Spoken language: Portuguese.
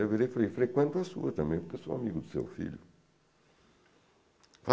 Eu virei e falei, frequento a sua também, porque eu sou amigo do seu filho.